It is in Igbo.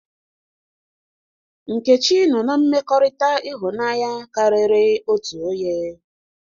Nkechi nọ na mmekọrịta ịhụnanya karịrị otú onye.